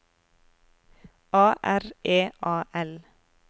A R E A L